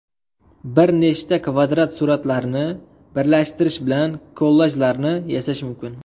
Bir nechta kvadrat suratlarni birlashtirish bilan kollajlarni yasash mumkin.